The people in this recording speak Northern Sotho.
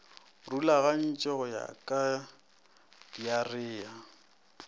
rulagantšwe go ya ka diarea